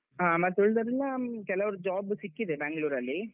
ಹ ಮತ್ತೆ ಉಳ್ದವರೆಲ್ಲಾ ಹ್ಮ್ ಕೆಲವರು job ಸಿಕ್ಕಿದೆ Bangalore ಅಲ್ಲಿ.